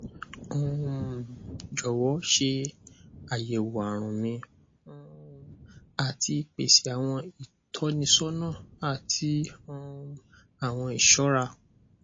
um jọwọ ṣe ayẹwo arun mi um ati pese awọn itọnisọna ati um awọn iṣọra